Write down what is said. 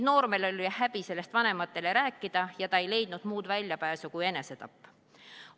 Noormehel oli häbi sellest vanematele rääkida ja ta ei leidnud muud väljapääsu kui enesetapp.